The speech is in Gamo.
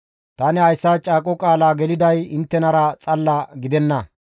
Tani hayssa caaqo qaala geliday inttenara xalla gidenna.